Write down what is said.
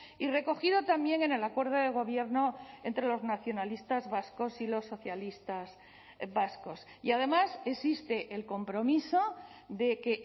y recogido también en el acuerdo de gobierno entre los nacionalistas vascos y los socialistas vascos y además existe el compromiso de que